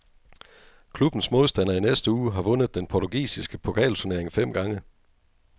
Klubbens modstander i næste uge har vundet den portugisiske pokalturnering fem gange.